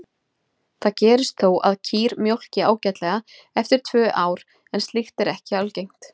Það gerist þó að kýr mjólki ágætlega eftir tvö ár en slíkt er ekki algengt.